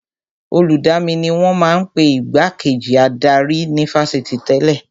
Olùdamí ni wọ́n ma ń pe Igbá kejì adarí ní Fásitì tẹ́lẹ̀